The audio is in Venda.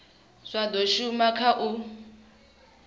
zwa do shuma kha u